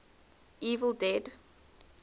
evil dead